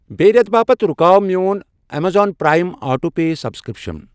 بیٚیہِ رٮ۪تہٕ باپتھ رُکاو میوٚن Amazon Prime auto pay subscription.